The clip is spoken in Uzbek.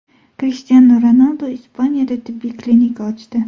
Krishtianu Ronaldu Ispaniyada tibbiy klinika ochdi.